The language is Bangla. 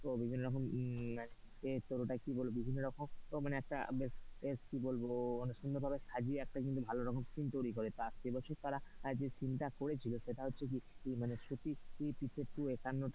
বিভিন্ন রকম উম এ তোর ওটা কি বলবো বিভিন্ন রকম মানে একটা বেশ বেশ কি বলবো ও মানে সুন্দর ভাবে সাজিয়ে একটা ভালো রকম theme তৈরী করে, এবছর তারা যে theme টা করেছিল সেটা হচ্ছে কি ই সতীপীঠের এক্কান্ন টা,